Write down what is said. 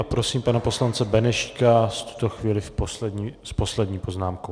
A prosím pana poslance Benešíka v tuto chvíli s poslední poznámkou.